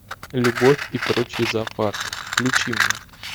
любовь и прочий зоопарк включи мне